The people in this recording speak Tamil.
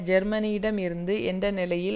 ஜேர்மனியிடம் இருந்து என்ற நிலையில்